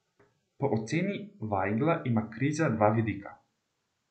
Po oceni Vajgla ima kriza dva vidika.